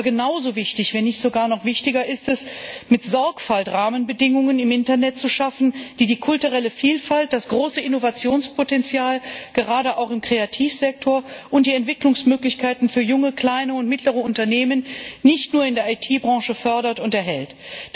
Aber genauso wichtig, wenn nicht sogar noch wichtiger ist es, mit Sorgfalt Rahmenbedingungen im Internet zu schaffen, die die kulturelle Vielfalt, das große Innovationspotenzial gerade auch im Kreativsektor und die Entwicklungsmöglichkeiten für junge kleine und mittlere Unternehmen nicht nur in der IT Branche fördern und erhalten.